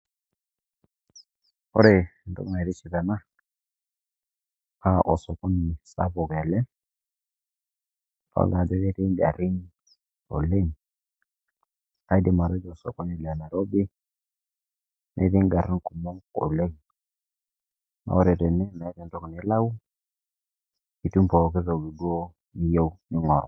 Ore entoki naitoship ena, naa osokoni sapuk ele adolita ajo ketii ingarin oleng' kaidim atejo osokoni le Nairobi netii ingarin kumok oleng' ore tene meetaa entoki nilau itumo pooki toki duo niyieu ning'oru.